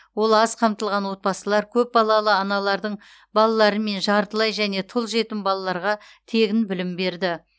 ол аз қамтылған отбасылар көпбалалы аналардың балалары мен жартылай және тұл жетім балаларға тегін білім берді